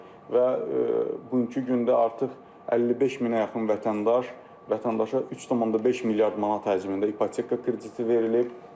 Və bugünkü gündə artıq 55 minə yaxın vətəndaş, vətəndaşa 3.5 milyard manat həcmində ipoteka krediti verilib.